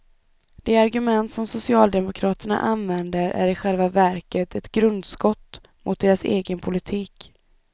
De argument som socialdemokraterna använder är i själva verket ett grundskott mot deras egen politik.